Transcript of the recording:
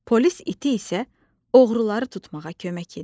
Polis iti isə oğruları tutmağa kömək edir.